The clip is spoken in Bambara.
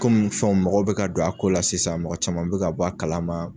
Komin fɛnw mɔgɔw be ka don a ko la sisan mɔgɔ caman be ka bɔ a kalama